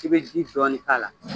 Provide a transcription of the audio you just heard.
I bɛ ji dɔɔnin k'a la